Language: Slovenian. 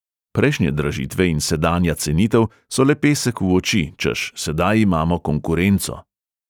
Prejšnje dražitve in sedanja cenitev so le pesek v oči, češ sedaj imamo konkurenco.